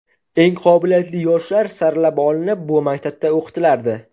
Eng qobiliyatli yoshlar saralab olinib, bu maktabda o‘qitilardi.